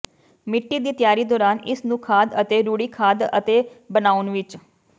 ਮਿੱਟੀ ਦੀ ਤਿਆਰੀ ਦੌਰਾਨ ਇਸ ਨੂੰ ਖਾਦ ਅਤੇ ਰੂੜੀ ਖਾਦ ਅਤੇ ਬਣਾਉਣ ਵਿੱਚ